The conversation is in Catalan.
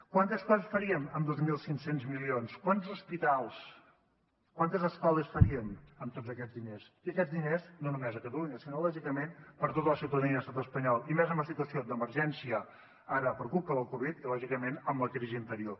quantes coses faríem amb dos mil cinc cents milions quants hospitals quantes escoles faríem amb tots aquests diners i aquests diners no només a catalunya sinó lògicament per a tota la ciutadania de l’estat espanyol i més en la situació d’emergència ara per culpa de la covid dinou i lògicament amb la crisi anterior